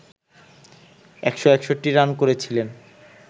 ১৬১ run করেছিলেন